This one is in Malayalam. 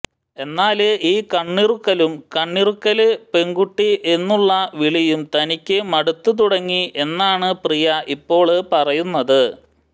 എന്നാല് ഈ കണ്ണിറുക്കലും കണ്ണിറുക്കല് പെണ്കുട്ടി എന്നുള്ള വിളിയും തനിക്ക് മടുത്തുതുടങ്ങി എന്നാണ് പ്രിയ ഇപ്പോള് പറയുന്നത്